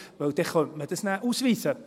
Denn dann könnte man das ja ausweisen.